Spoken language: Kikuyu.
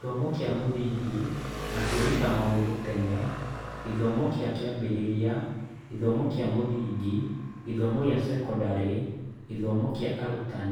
Gĩthomo kĩa Mũthingi na Kwĩruta Maũndũ Tene (gĩthomo kĩa kĩambĩrĩria, gĩthomo kĩa mũthingi, gĩthomo kĩa sekondarĩ, gĩthomo kĩa arutani)